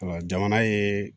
jamana ye